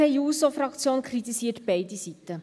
Die SP-JUSO-PSA-Fraktion kritisiert beide Seiten.